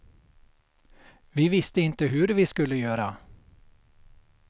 Vi visste inte hur vi skulle göra.